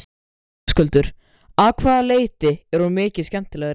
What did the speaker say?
Höskuldur: Af hvaða leyti er hún mikið skemmtilegri?